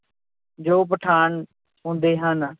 ਜੋ ਪਠਾਨ ਹੁੰਦੇ ਹਨ।